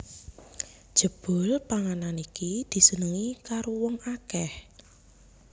Jebul panganan iki disenengi karo wong akèh